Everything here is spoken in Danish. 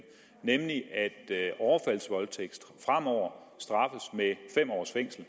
nemlig at overfaldsvoldtægt fremover straffes med fem års fængsel